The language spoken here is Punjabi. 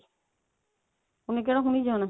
ਉਹਨੇ ਕਿਹੜਾ ਹੁਣੀ ਜਾਣਾ